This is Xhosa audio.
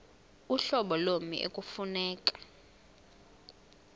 uhlobo lommi ekufuneka